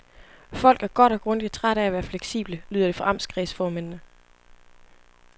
Folk er godt og grundigt trætte af at være fleksible, lyder det fra amtskredsformændene.